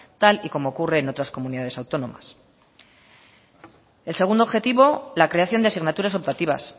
tal y como ocurre en otras comunidades autónomas el segundo objetivo la creación de asignaturas optativas